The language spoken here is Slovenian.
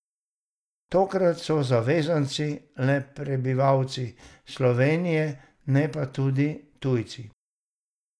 Tokrat so zavezanci le prebivalci Slovenije, ne pa tudi tujci.